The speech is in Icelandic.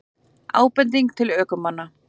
Ábending til ökumanna